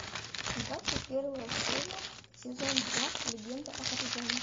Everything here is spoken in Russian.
двадцать первая серия сезон два легенда о тарзане